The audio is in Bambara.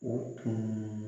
O tun